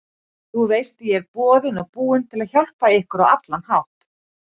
Þú veist ég er boðinn og búinn til að hjálpa ykkur á allan hátt.